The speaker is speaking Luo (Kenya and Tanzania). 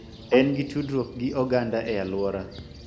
En gi tudruok gi oganda e alwora